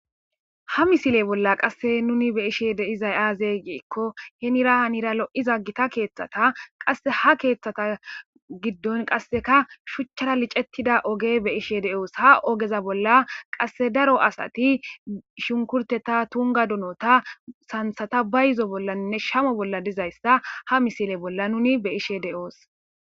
ha misile bolla qasse nuni be'ishe deizay aazey giikko henira hanira lo7iza gita keeththata qaha keeththata giddon qasseka shuchchara licettida oge be ishe de7oos ha ogeza bolla qasse daro asati shunkurteta tunga dunota santhata ba yizo bollanne shamo bolla dizayssa ha misile bolla nuni be ishe de7oos